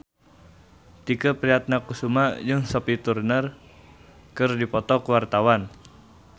Tike Priatnakusuma jeung Sophie Turner keur dipoto ku wartawan